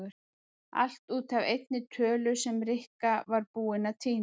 Allt út af einni tölu sem Rikka var búin að týna.